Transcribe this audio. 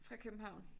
Fra København